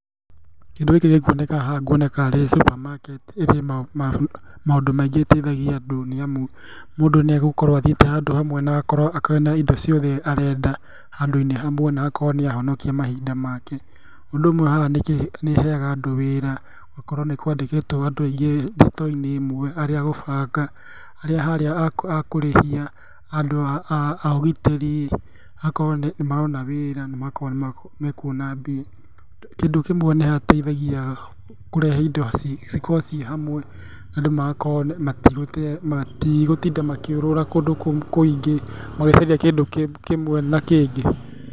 Kĩndũ gĩkĩ gĩkwoneka haha ngũona ta arĩ supermarket. Ĩrĩ maũndũ maingĩ ĩteithagia andũ nĩamu mũndũ nĩegũkorwo athiĩte handũ hamwe na agakorwo ena indo ciothe arenda handũ-inĩ hamwe na akorwo nĩahonokia mahinda make. Ũndũ umwe haha nĩĩheaga andũ wĩra. Ũgakora nĩkwandĩkĩtwo andũ aingĩ thitoo-inĩ ĩmwe arĩa a gũbanga, arĩa harĩa a kũrĩhia, andũ a ũgitĩri, magakorwo nĩmarona wĩra na magakorwo nĩmekũona mbia. Kĩndũ kĩmwe nĩ hateithagia kũrehe indo cikorwo ciĩ hamwe, andũ magakorwo matigũtinda makĩũrũra kũndũ kũingĩ magĩcaria kĩndũ kĩmwe na kĩngĩ.